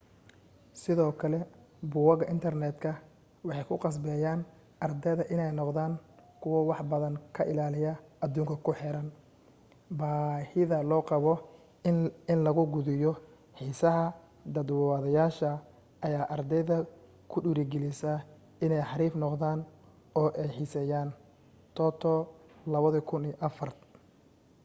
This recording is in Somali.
sidoo kale boggaga internetka’’ waxay kuqasbeyaan ardayda iney noqdaan kuwa wax badan ka ilaaliya adduunka kuxeeran.’’ baahida loo qabo in lagu quudiyo xiisaha daadwadayaasha ayaa ardayda kudhirigilisa iney xariif noqdaan oo ey xiiseyaantoto,2004